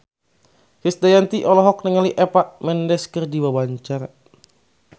Krisdayanti olohok ningali Eva Mendes keur diwawancara